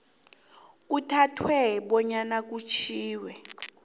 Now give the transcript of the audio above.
kuthathwe bonyana kutjhiwo